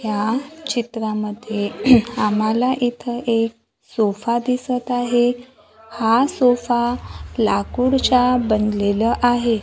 या चित्रामध्ये आम्हाला इथं एक सोफा दिसत आहे हा सोफा लाकूडचा बनलेलं आहे.